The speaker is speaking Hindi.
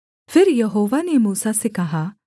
फिर यहोवा ने मूसा से कहा